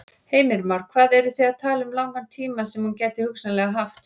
Heimir Már: Hvað eru þið að tala um langan tíma sem hún gæti hugsanlega haft?